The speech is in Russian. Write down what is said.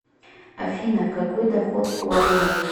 афина какой доход у алымовой